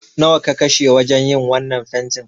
Nawa ka kashe wajen yin wannan fentin?